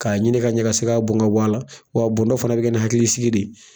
K'a ɲini ka ɲɛ ka se ka bɔn ka bɔ a la waa la wa a bɔndɔ fana bi kɛ ni hakilisigi de ye.